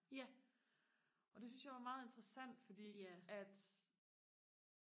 og det synes jeg var meget interessant fordi at